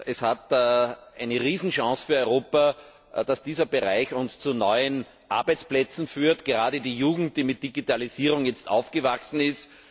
Es ist eine Riesenchance für Europa, dass dieser Bereich uns zu neuen Arbeitsplätzen führt, gerade für die Jugend, die mit Digitalisierung aufgewachsen ist.